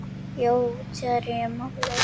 Jói útherji málið?